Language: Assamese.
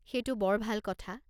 সেইটো বৰ ভাল কথা।